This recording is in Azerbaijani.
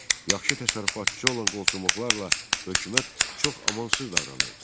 Yaxşı təsərrüfatçı olan qolçomaqlarla hökumət çox amansız davranırdı.